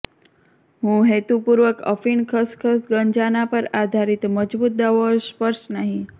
હું હેતુપૂર્વક અફીણ ખસખસ ગાંજાના પર આધારિત મજબૂત દવાઓ સ્પર્શ નહીં